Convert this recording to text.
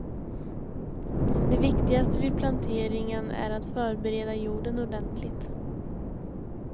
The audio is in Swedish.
Det viktigaste vid planteringen är att förbereda jorden ordentligt.